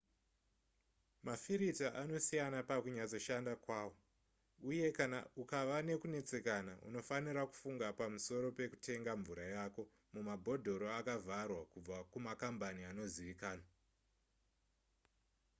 mafirita anosiyana pakunyatsoshanda kwawo uye kana ukava nekunetsekana unofanira kufunga pamusoro pekutenga mvura yako mumabhodhoro akavharwa kubva kumakambani anozivikanwa